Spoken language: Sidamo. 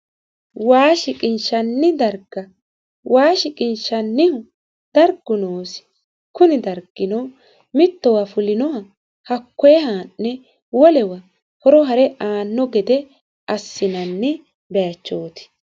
waa shiqinshanni darga waa shiqinshannihu dargu noosi kuni dargino mittowa fulinoha hakkoyee haa'ne wolewa horo hare aanno gede assinanni bayiichooti